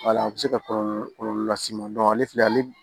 Wala a bɛ se ka kɔlɔlɔ kɔlɔlɔ las'i ma ale filɛ ale